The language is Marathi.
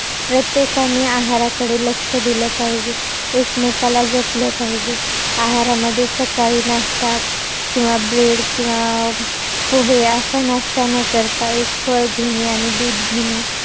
प्रत्येकांनी आहाराकडे लक्ष दिलं पाहिजे. एकमेकाला जपलं पाहिजे. आहारामध्ये सकाळी नाश्ता, किंवा bread किंवा पोहे असा नाश्ता न करता, एक फळ घेणे आणि दूध घेणे